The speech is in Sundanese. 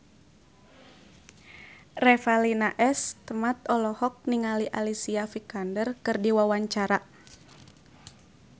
Revalina S. Temat olohok ningali Alicia Vikander keur diwawancara